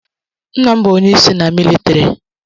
Nna m bụ onyeisi na militari.